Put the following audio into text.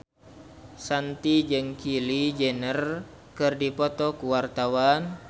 Shanti jeung Kylie Jenner keur dipoto ku wartawan